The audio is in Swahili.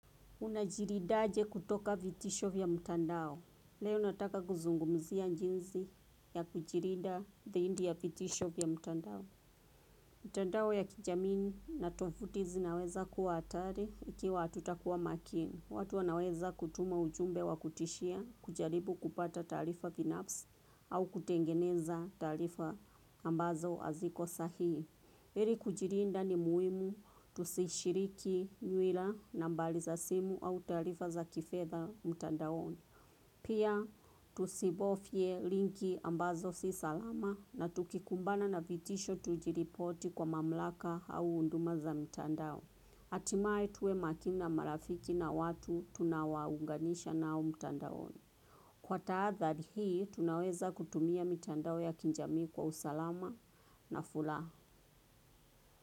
Unajilindaje kutoka vitisho vya mtandao. Leo nataka kuzungumzia jinsi ya kujilinda zaidi ya vitisho vya mtandao. Mtandao ya kijamii na tovuti zinaweza kuwa hatari ikiwa hatutakuwa makini. Watu wanaweza kutuma ujumbe wa kutishia kujaribu kupata taarifa binafsi au kutengeneza taarifa ambazo haziko sahihi. Ili kujilinda ni muhimu tusishiriki nywila nambari za simu au taarifa za kifedha mtandaoni. Pia tusibofye linki ambazo si salama na tukikumbana na vitisho tujiripoti kwa mamlaka au huduma za mtandao. Hatimaye tuwe makini na marafiki na watu tunawaunganisha nao mtandaoni. Kwa tahadhari hii tunaweza kutumia mitandao ya kijamii kwa usalama na furaha.